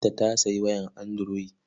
Binta ta sayi waya anduroyi.